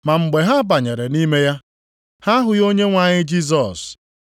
Ma mgbe ha banyere nʼime ya, ha ahụghị ahụ Onyenwe anyị Jisọs.